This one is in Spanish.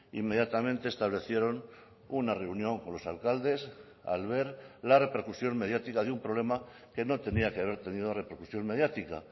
inmediatamente establecieron una reunión con los alcaldes al ver la repercusión mediática de un problema que no tenía que haber tenido repercusión mediática